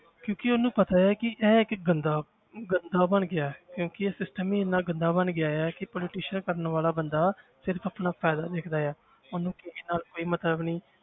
ਕਿਉਂਕਿ ਉਹਨੂੰ ਪਤਾ ਹੈ ਕਿ ਇਹ ਇੱਕ ਗੰਦਾ ਗੰਦਾ ਬਣ ਗਿਆ ਹੈ ਕਿਉਂਕਿ ਇਹ system ਹੀ ਇੰਨਾ ਗੰਦਾ ਬਣ ਗਿਆ ਹੈ ਕਿ politician ਕਰਨ ਵਾਲਾ ਬੰਦਾ ਸਿਰਫ਼ ਆਪਣਾ ਫ਼ਾਇਦਾ ਦੇਖਦਾ ਹੈ ਉਹਨੂੰ ਕਿਸੇ ਨਾਲ ਕੋਈ ਮਤਲਬ ਨੀ,